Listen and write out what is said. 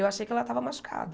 Eu achei que ela estava machucada.